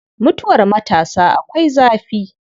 Mutuwar matasa akwai zafi.